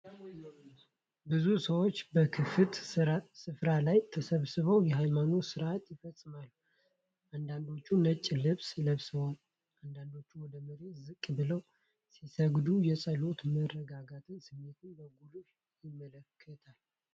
ብዙ ሰዎች በክፍት ስፍራ ላይ ተሰብስበው የሃይማኖት ሥርዓት ይፈጽማሉ። አንዳንዶቹ ነጭ ልብስ ለብሰው፣ አንዳንዶቹ ወደ መሬት ዝቅ ብለው ሲሰግዱ፣ የጸሎትና የመረጋጋት ስሜት በጉልህ ያመለክታል።